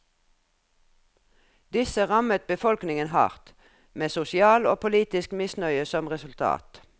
Disse rammet befolkningen hardt, med sosial og politisk misnøye som resultat.